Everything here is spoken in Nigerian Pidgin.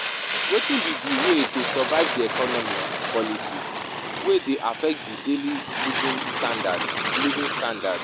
Wetin be di way to survive di economic policies wey dey affect di daily living standards living standards